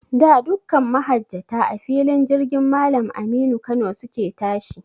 Da, dukkan mahajjata, a filin jirgin Mallam Aminu Kano su ke tashi.